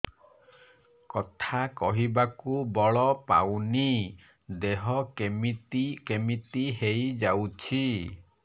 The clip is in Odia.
କଥା କହିବାକୁ ବଳ ପାଉନି ଦେହ କେମିତି କେମିତି ହେଇଯାଉଛି